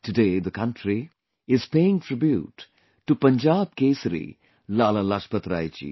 Today the country, is paying tribute to Punjab Kesari Lala Lajpat Rai ji